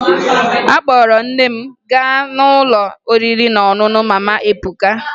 Akpọrọ m nne m gaa n'ụlọ oriri na ọṅụṅụ Mama Ebuka